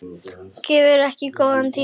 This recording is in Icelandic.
Gefið ykkur góðan tíma.